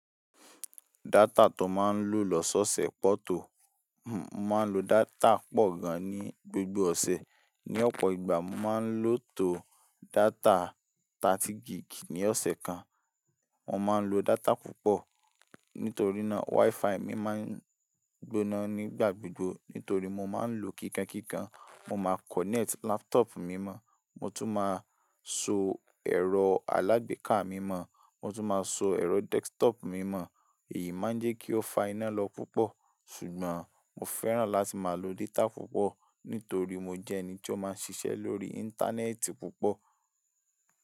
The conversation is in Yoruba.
Data tó máa ń lò lọ́sọ́ọ̀sẹ̀ pọ̀ tó. Mo máa ń lo data pọ̀ gan-an ní gbogbo ọ̀sẹ̀, ní ọ̀pọ̀ ìgbà mo máa ń lò tó data 30 gig ní ọ̀sẹ̀ kan. Mo máa ń lo data púpọ̀, nítorí náà Wi-Fi mi máa ń gbóná nígbà gbogbo, nítorí mo máa ń lòó kíkankíkan. Mo máa connect laptop mi mọ́-ọn, mo tún máa so ẹ̀rọ alágbèéká mi mọ́-ọn, mo tún máa so ẹ̀rọ desktop mi mọ́-ọn. Èyí máa ń jẹ́ kí ó fa iná lọ púpọ̀. Ṣùgbọ́n mo fẹ́ràn láti máa lo data púpọ̀, nítorí mo jẹ́ ẹni tí ó máa ń ṣiṣẹ́ lórí Íńtánẹ́ẹ̀tì púpọ̀.